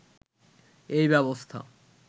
এই ব্যবস্থা